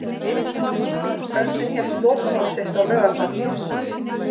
Örninn hélt lokahóf sitt á laugardag.